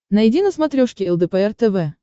найди на смотрешке лдпр тв